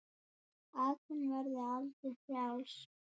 Að hún verði aldrei frjáls.